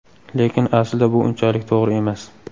Lekin aslida bu unchalik to‘g‘ri emas.